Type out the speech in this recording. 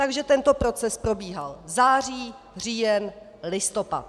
Takže tento proces probíhal září, říjen, listopad.